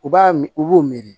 U b'a mi u b'o miiri